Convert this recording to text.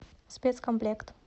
спецкомплект